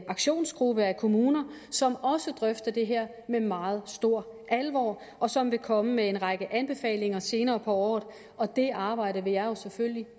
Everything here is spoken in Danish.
aktionsgruppe af kommuner som også drøfter det her med meget stor alvor og som vil komme med en række anbefalinger senere på året og det arbejde vil jeg selvfølgelig